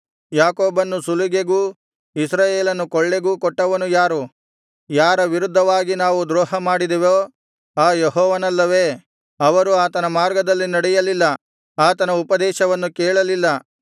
ಯಾಕೋಬನ್ನು ಸುಲಿಗೆಗೂ ಇಸ್ರಾಯೇಲನ್ನು ಕೊಳ್ಳೆಗೂ ಕೊಟ್ಟವನು ಯಾರು ಯಾರ ವಿರುದ್ಧವಾಗಿ ನಾವು ದ್ರೋಹಮಾಡಿದೆವೋ ಆ ಯೆಹೋವನಲ್ಲವೆ ಅವರು ಆತನ ಮಾರ್ಗದಲ್ಲಿ ನಡೆಯಲಿಲ್ಲ ಆತನ ಉಪದೇಶವನ್ನು ಕೇಳಲಿಲ್ಲ